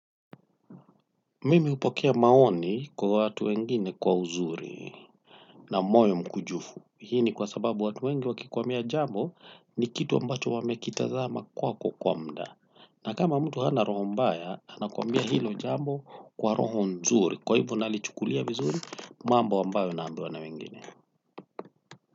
Mimi hupokea maoni kwa watu wengine kwa uzuri na moyo mkujufu. Hii ni kwa sababu watu wengi wakikuambia jambo ni kitu ambacho wamekitazama kwako kwa muda na kama mtu hana roho mbaya, ana kwambia hilo jambo kwa roho nzuri. Kwa hivo nalichukulia vizuri, mambo ambayo naambiwa na wengine.